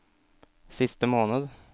siste måned